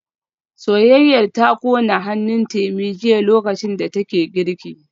Soyayyar ta kona hannun Temi jiya lokacin da take girki